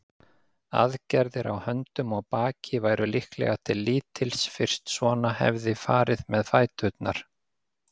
Aðgerðir á höndum og baki væru líklega til lítils fyrst svona hefði farið með fæturna.